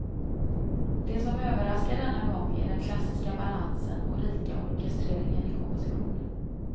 Det som överraskar denna gång är den klassiska balansen och rika orkestreringen i kompositionen.